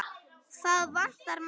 Það vantaði margt.